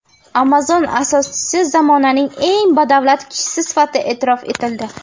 Amazon asoschisi zamonaning eng badavlat kishisi sifatida e’tirof etildi.